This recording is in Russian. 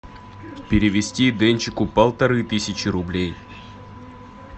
перевести денчику полторы тысячи рублей